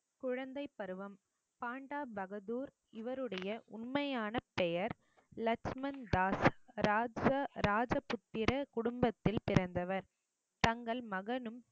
குழந்தைப் பருவம் பாண்டா பகதூர் இவருடைய உண்மையான பெயர் லக்ஷ்மண் தாஸ் ராஜபுத்திர குடும்பத்தில் பிறந்தவர் தங்கள் மகனும்